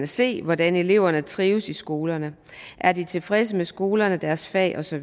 se hvordan eleverne trives i skolerne er de tilfredse med skolerne deres fag osv